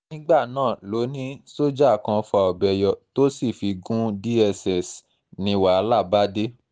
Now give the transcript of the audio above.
nígbà náà ló ní sójà kan fa ọbẹ̀ yọ tó sì fi gun dss ni wàhálà bá dé